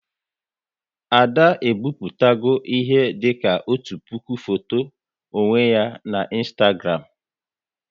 Ada e bipụtago ihe dịka otu puku foto onwe ya na Ịnstagram